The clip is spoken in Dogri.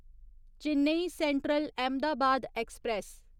Chennai central Ahmedabad express